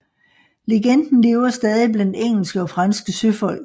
Legenden lever stadig blandt engelske og franske søfolk